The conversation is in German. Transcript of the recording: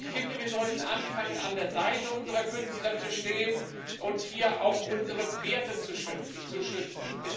Ich finde, wir sollten anfangen, an der Seite unserer Künstler zu stehen und hier auch unsere Werte zu schützen.